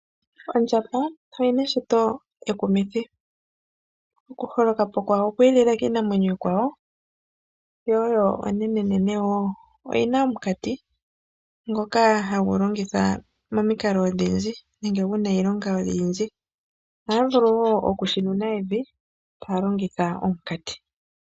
Ondjamba oyina eshito ekumithi . Okuholoka po kwayo okwi ilile kiinamwenyo iikwawo , yo onene woo. Oyina omukati ngoka hagu longithwa momikalo odhindji ngaashi nenge guna iilonga oyindji . Ohayi vulu woo okushinuna evi tayi longitha omukati .